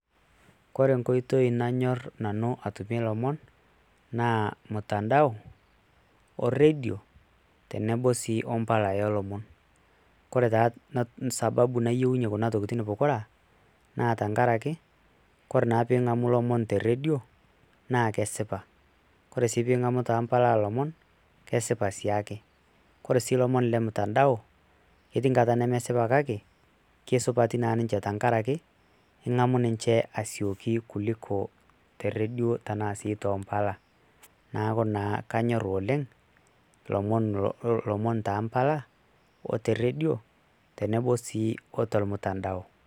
Kore tenkoitoi nanyor Nanu atumie ilomon naa mtandao oredio tenebo sii ompala olomon. ore taa sababu nayieunyie Kuna tokitin pokira naa tenkaraki Kore teningamu ilomon teredio naa kesipa. Ore sii pingamu too mpala olomon kesipa sii ake. Kore si lomon le mtandao ketii nkata nemesipa kake kesupati naa ninche tenkaraki ingamu ninche asioki kuliko te redio tenaa sii too mpala. niaku naa kanyor oleng lomon toompala oteredio tenebo sii otormutandao.